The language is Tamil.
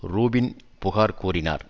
ரூபின் புகார் கூறினார்